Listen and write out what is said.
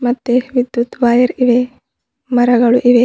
ಮತ್ತೆ ವಿದ್ಯುತ್ ವೈರ್ ಇವೆ ಮರಗಳು ಇವೆ.